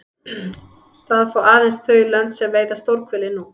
Það fá aðeins þau lönd sem veiða stórhveli nú.